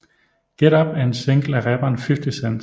Get Up er en single af rapperen 50 Cent